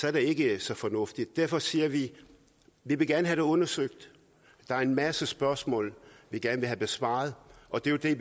er det ikke så fornuftigt derfor siger vi at vi gerne vil undersøgt der er en masse spørgsmål vi gerne vil have besvaret og det er jo det